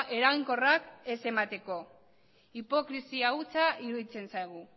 eraginkorrak ez emateko hipokresia hutsa iruditzen zaigu